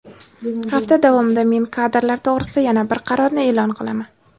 Hafta davomida men kadrlar to‘g‘risida yana bir qarorni e’lon qilaman.